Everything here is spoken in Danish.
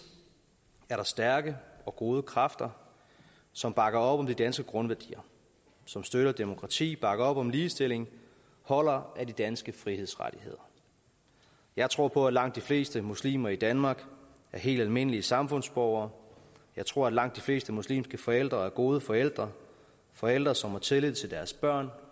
stærke og gode kræfter som bakker op om de danske grundværdier som støtter demokratiet og bakker op om ligestilling og holder af de danske frihedsrettigheder jeg tror på at langt de fleste muslimer i danmark er helt almindelige samfundsborgere jeg tror at langt de fleste muslimske forældre er gode forældre forældre som har tillid til deres børn